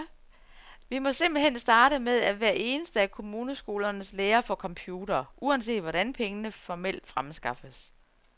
Vi må simpelt hen starte med, at hver eneste af kommuneskolernes lærere får computere, uanset hvordan pengene formelt fremskaffes.